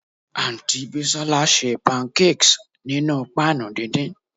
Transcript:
Aunty Bisola se pancakes ninu pan dindin